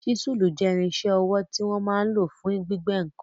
Ṣísùl jẹ́ irinṣẹ́ ọwọ́ tí wọ́n máa n lò fún gbígbẹ́ ǹkan